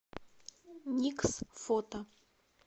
никс фото